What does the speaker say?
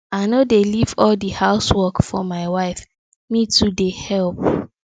i no dey leave all di house work for my wife me too dey helep